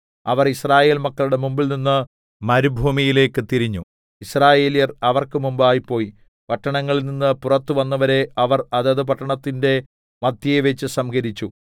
അവർ Israel മക്കളുടെ മുമ്പിൽനിന്ന് മരുഭൂമിയിലേക്ക് തിരിഞ്ഞു യിസ്രായേല്യർ അവർക്ക് മുമ്പായി പോയി പട്ടണങ്ങളിൽനിന്ന് പുറത്ത് വന്നവരെ അവർ അതത് പട്ടണത്തിന്റെ മദ്ധ്യേവെച്ച് സംഹരിച്ചു